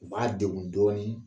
U b'a dengun dɔɔnin